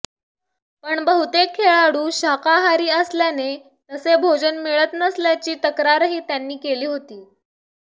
पण बहुतेक खेळाडू शाकाहारी असल्याने तसे भोजन मिळत नसल्याची तक्रारही त्यांनी केली होती